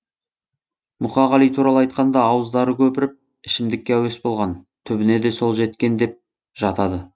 мұқағали туралы айтқанда ауыздары көпіріп ішімдікке әуес болған түбіне де сол жеткен деп жатады